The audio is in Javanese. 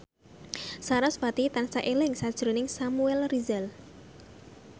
sarasvati tansah eling sakjroning Samuel Rizal